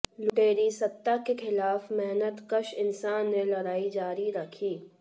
लुटेरी सत्ता के खिलाफ मेहनतकश इंसान ने लड़ाई जारी रखी